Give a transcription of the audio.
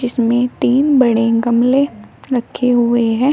इसमें तीन बड़े गमले रखे हुए हैं।